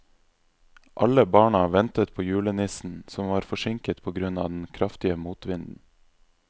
Alle barna ventet på julenissen, som var forsinket på grunn av den kraftige motvinden.